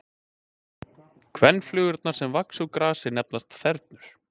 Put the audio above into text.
Kvenflugurnar sem vaxa úr grasi nefnast þernur.